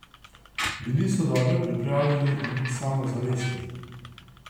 Bili so dobro pripravljeni in samozavestni.